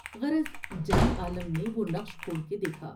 غرض جان عالم نے وہ نقش کھول کے دیکھا ۔